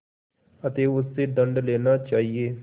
अतएव उससे दंड लेना चाहिए